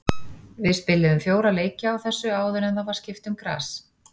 Við spiluðum fjóra leiki á þessu áður en það var skipt um gras.